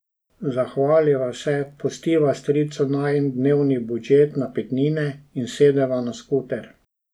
Zahvaliva se, pustiva stricu najin dnevni budžet napitnine in sedeva na skuter.